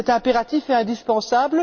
C'est impératif et indispensable.